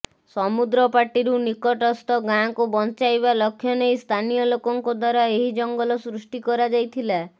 ସମୁଦ୍ର ପାଟିରୁ ନିକଟସ୍ଥ ଗାଁକୁ ବଞ୍ଚାଇବା ଲକ୍ଷ୍ୟ ନେଇ ସ୍ଥାନୀୟ ଲୋକଙ୍କ ଦ୍ୱାରା ଏହି ଜଙ୍ଗଲ ସୃଷ୍ଟି କରାଯାଇଥିଲା